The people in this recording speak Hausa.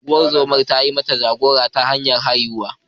Ungozoma ta yi mata jagora ta hanyar haihuwa.